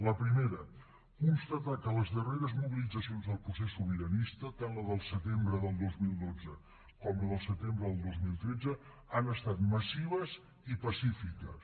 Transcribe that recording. la primera constatar que les darreres mobilitzacions del procés sobiranista tant la del setembre del dos mil dotze com la del setembre del dos mil tretze han estat massives i pacífiques